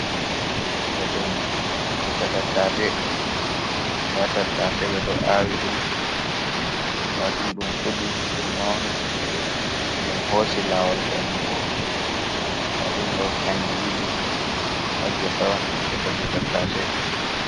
Do dum ngesa Tattase. Nda Tattase bedo awi dum. Ndadum dum fudi, dum mauni, dum hosi lawol bendugo. Ndadum do kanji didi ha Ngesa on Ngesa je Tattase